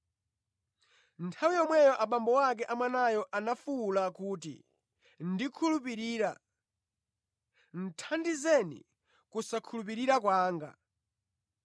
Nthawi yomweyo abambo a mwanayo anafuwula kuti, “Ndikhulupirira; thandizani kusakhulupirira kwanga!”